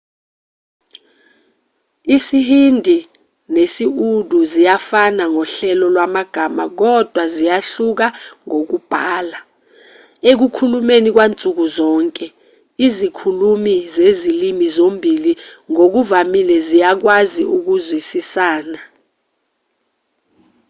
isihindi nesi-urdu ziyafana ngohlelo lwamagama kodwa ziyahluka ngokubhala ekukhulumeni kwansuku zonke izikhulumi zezilimi zombili ngokuvamile ziyakwazi ukuzwisisana